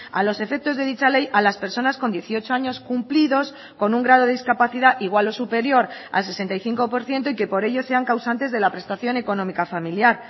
a los efectos de dicha ley a las personas con dieciocho años cumplidos con un grado de discapacidad igual o superior al sesenta y cinco por ciento y que por ello sean causantes de la prestación económica familiar